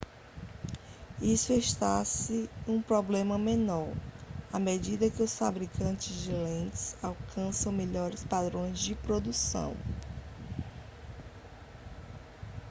isso está se um problema menor à medida que os fabricantes de lentes alcançam melhores padrões na produção